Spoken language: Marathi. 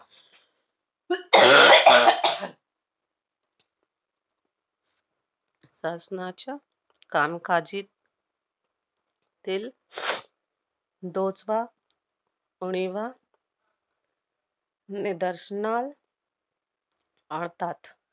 शासनाच्या कामकाजीत तील उणिवा निदर्शनाल आतात.